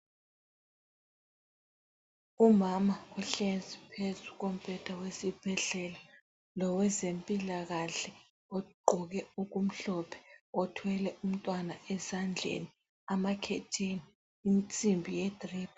Umama uhlezi phezu kombheda wesibhedlela lowezempilakahle ogqoke okumhlophe othwele umntwana esandleni, amakhetheni, insimbi yedrip.